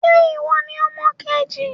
Ṣẹ́ ìwọ ní ọmọ kejì?